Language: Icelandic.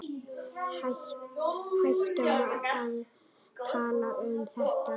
Hættum að tala um þetta.